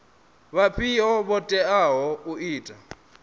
vhafhio vho teaho u ita